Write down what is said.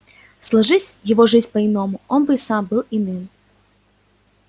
сложись его жизнь по-иному он бы и сам был иным